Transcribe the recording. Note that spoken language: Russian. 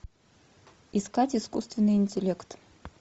искать искусственный интеллект